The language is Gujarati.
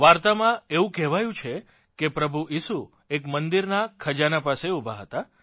વાર્તામાં એવું કહેવાયું છે કે પ્રભુ ઇસુ એક મંદિરના ખજાના પાસે ઊભા હતા